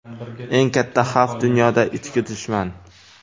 Eng katta xavf dunyoda ichki dushman.